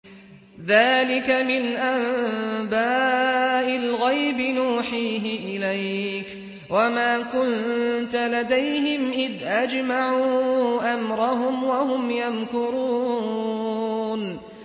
ذَٰلِكَ مِنْ أَنبَاءِ الْغَيْبِ نُوحِيهِ إِلَيْكَ ۖ وَمَا كُنتَ لَدَيْهِمْ إِذْ أَجْمَعُوا أَمْرَهُمْ وَهُمْ يَمْكُرُونَ